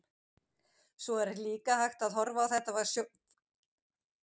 Svo er líka hægt að horfa á þetta frá sjónarmiði trúarbragðasögunnar eða trúboðsins.